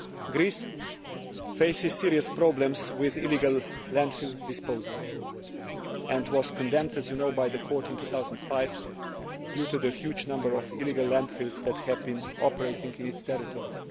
Greece faces serious problems with illegal landfill disposal and was condemned, as you know, by the Court in 2005 due to the huge number of illegal landfills that had been operating in its territory.